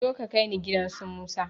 Zo ka kaini gidan su musa